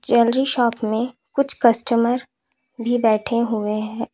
Jewellery shop में कुछ customer भी बैठे हुए हैं।